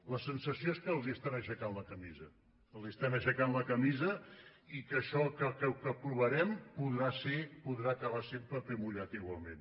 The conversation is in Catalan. la sensació és que els estan aixecant la camisa els estan aixecant la camisa i que això que aprovarem podrà acabar sent paper mullat igualment